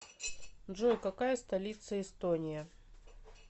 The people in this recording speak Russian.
джой какая столица эстония